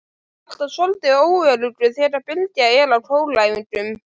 Alltaf soldið óöruggur þegar Bylgja er á kóræfingum.